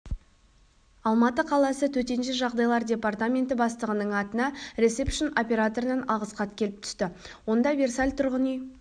алматы қаласы төтенше жағдайлар департаменті бастығының атына ресепшн-операторынан алғыс хат келіп түсті онда версаль тұрғын үй